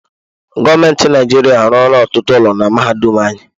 Gọọmenti Naịjirịa arụọla ọtụtụ ụlọ na mahadum anyị.